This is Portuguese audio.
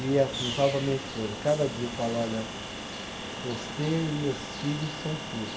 E assim, falo para minha esposa, cada dia eu falo, olha, você e meus filhos são tudo.